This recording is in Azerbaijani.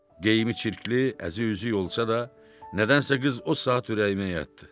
Geyimi çirkli, əzi-üzüyü olsa da, nədənsə qız o saat ürəyimə yatdı.